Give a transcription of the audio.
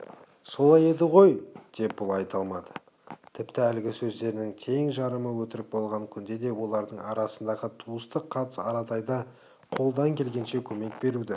солай еді ғой деп бұл айта алмады тіпті әлгі сөздерінің тең жарымы өтірік болған күнде де олардың арасындағы туыстық қатыс аратайды қолдан келгенше көмек беруді